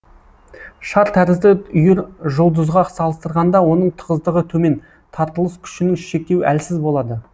шар тәрізді үйіржұлдызға салыстырғанда оның тығыздығы төмен тартылыс күшінің шектеуі әлсіз болады